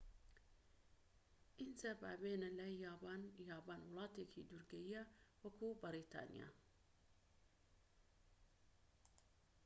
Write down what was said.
ئینجا با بێینە لای یابان یابان وڵاتێکی دورگەییە وەکو بەریتانیا